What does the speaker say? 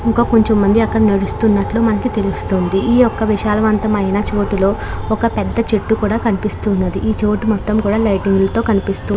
ఇంకా కొంచెం మంది అక్కడ నడుస్తున్నట్టు మనకు తెలుస్తుంది. ఈ యొక్క విశాలవంతమైన చోటులో ఒక పెద్ద చెట్టు కూడా కనిపిస్తూ ఉన్నది. ఈ చోటు మొత్తం కూడా లైటింగ్ లతో కనిపిస్తూ --